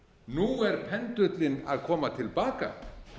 nú er pendúllinn að koma til baka